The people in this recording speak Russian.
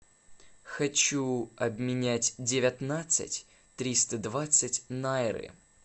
хочу обменять девятнадцать триста двадцать найры